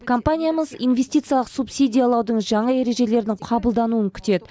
компаниямыз инвестициялық субсидиялаудың жаңа ережелерінің қабылдануын күтеді